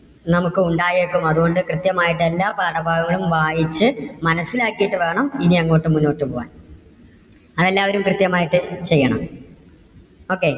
നമുക്ക് ഉണ്ടായേക്കും അതുകൊണ്ട് കൃത്യമായിട്ട് എല്ലാ പാഠഭാങ്ങളും വായിച്ച് മനസ്സിലാക്കിയിട്ട് വേണം ഇനി അങ്ങോട്ട് മുന്നോട്ട് പോകാൻ. അതെല്ലാവരും കൃത്യമായിട്ട് ചെയ്യണം. okay.